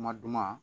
Kuma duman